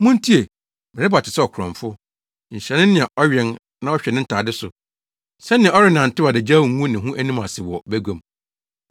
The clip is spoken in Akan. “Muntie! Mereba te sɛ ɔkorɔmfo. Nhyira ne nea ɔwɛn na ɔhwɛ ne ntade so, sɛnea ɔrennantew adagyaw ngu ne ho anim ase wɔ bagua mu!”